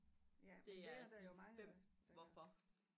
Det er de 5 hvorfor